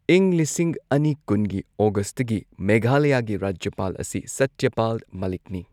ꯏꯪ ꯂꯤꯁꯤꯡ ꯑꯅꯤ ꯀꯨꯟꯒꯤ ꯑꯣꯒꯁꯠꯇꯒꯤ ꯃꯦꯘꯥꯂꯌꯥꯒꯤ ꯔꯥꯖ꯭ꯌꯄꯥꯜ ꯑꯁꯤ ꯁꯇ꯭ꯌ ꯄꯥꯜ ꯃꯥꯂꯤꯛꯅꯤ꯫